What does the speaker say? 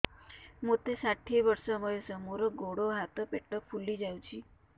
ମୋତେ ଷାଠିଏ ବର୍ଷ ବୟସ ମୋର ଗୋଡୋ ହାତ ପେଟ ଫୁଲି ଯାଉଛି